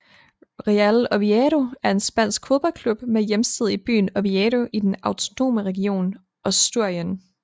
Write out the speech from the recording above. Real Oviedo er en spansk fodboldklub med hjemsted i byen Oviedo i den autonome region Asturien